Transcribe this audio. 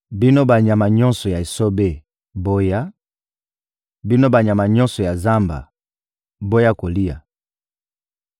Bino banyama nyonso ya esobe, boya; bino banyama nyonso ya zamba, boya kolia!